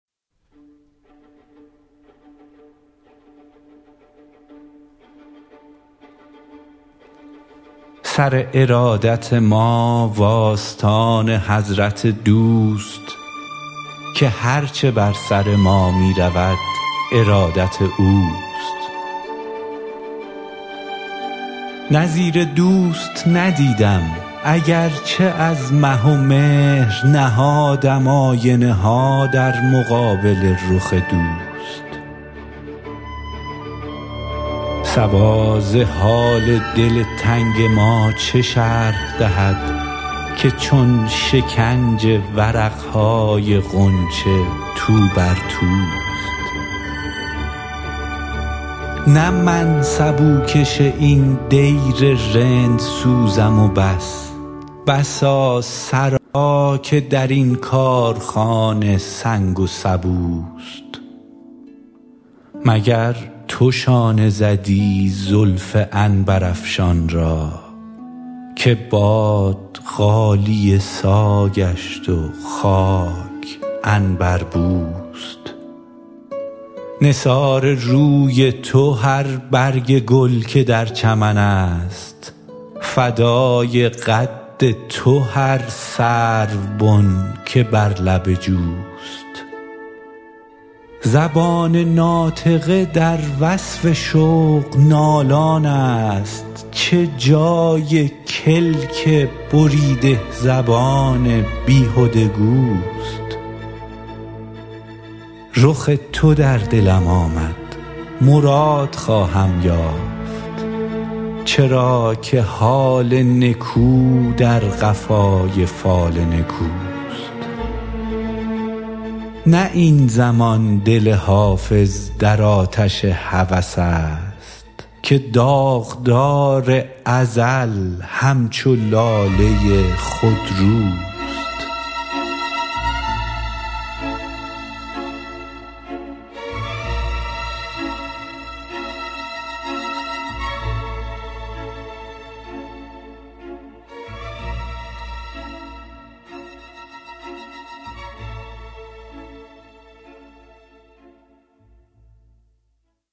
سر ارادت ما و آستان حضرت دوست که هر چه بر سر ما می رود ارادت اوست نظیر دوست ندیدم اگر چه از مه و مهر نهادم آینه ها در مقابل رخ دوست صبا ز حال دل تنگ ما چه شرح دهد که چون شکنج ورق های غنچه تو بر توست نه من سبوکش این دیر رندسوزم و بس بسا سرا که در این کارخانه سنگ و سبوست مگر تو شانه زدی زلف عنبرافشان را که باد غالیه سا گشت و خاک عنبربوست نثار روی تو هر برگ گل که در چمن است فدای قد تو هر سروبن که بر لب جوست زبان ناطقه در وصف شوق نالان است چه جای کلک بریده زبان بیهده گوست رخ تو در دلم آمد مراد خواهم یافت چرا که حال نکو در قفای فال نکوست نه این زمان دل حافظ در آتش هوس است که داغدار ازل همچو لاله خودروست